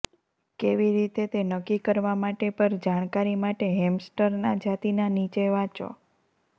કેવી રીતે તે નક્કી કરવા માટે પર જાણકારી માટે હેમસ્ટર ના જાતિના નીચે વાંચો